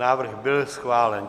Návrh byl schválen.